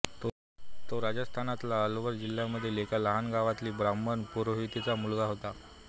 तो राजस्थानातल्या अलवार जिल्ह्यामधील एका लहान गावातील ब्राह्मण पुरोहिताचा मुलगा होता